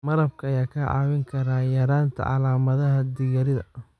Malabka ayaa kaa caawin kara yaraynta calaamadaha dhiig-yarida.